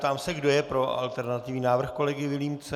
Ptám se, kdo je pro alternativní návrh kolegy Vilímce.